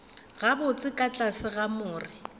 gabotse ka tlase ga more